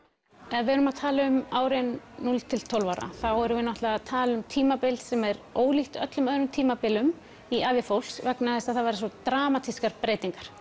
ef við erum að tala um árin núll til tólf ára þá erum við náttúrulega að tala um tímabil sem er ólíkt öllum öðrum tímabilum í ævi fólks vegna þess að það verða svo dramatískar breytingar